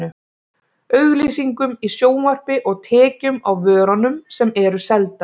Auglýsingum í sjónvarpi og tekjum á vörunum sem eru seldar.